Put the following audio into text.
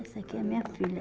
Essa aqui é minha filha.